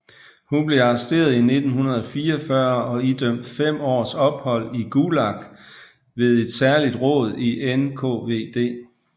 Hun blev arresteret i 1944 og idømt fem års ophold i Gulag ved et særligt råd i NKVD